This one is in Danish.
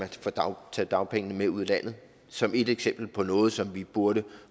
tage dagpengene med ud af landet som et eksempel på noget som vi burde